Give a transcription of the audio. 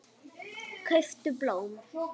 Kauptu blóm.